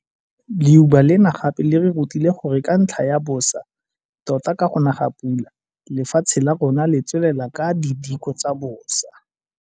Leuba lena gape le re rutile gore ka ntlha ya bosa tota ka go na ga pula, lefatshe la rona le tswelela ka didiko tsa bosa.